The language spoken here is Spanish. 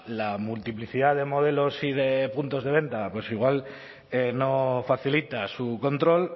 la multiplicidad de modelos y de puntos de venta pues igual no facilita su control